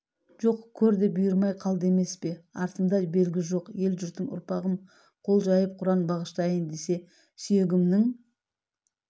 жоқ көр де бұйырмай қалды емес пе артымда белгі жоқ ел-жұртым ұрпағым қол жайып құран бағыштайын десе сүйегімнің